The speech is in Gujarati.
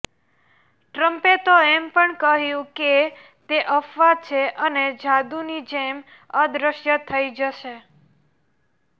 ટ્રમ્પે તો એમ પણ કહ્યું કે તે અફવા છે અને જાદુની જેમ અદૃશ્ય થઈ જશે